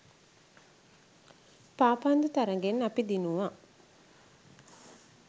පාපන්දු තරඟෙන් අපි දිනුව.